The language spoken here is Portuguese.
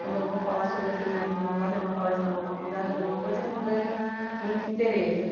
Quando eu vou falar sobre esse método, fazer uma palestra numa faculdade, alguma coisa, eu não vejo muito interesse.